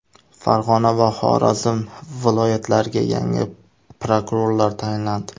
Farg‘ona va Xorazm viloyatlariga yangi prokurorlar tayinlandi.